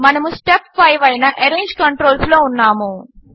మనము స్టెప్ 5 అయిన arrange controls లో ఉన్నాము